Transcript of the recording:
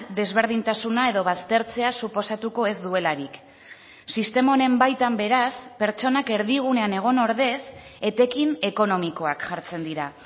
desberdintasuna edo baztertzea suposatuko ez duelarik sistema honen baitan beraz pertsonak erdigunean egon ordez etekin ekonomikoak jartzen dira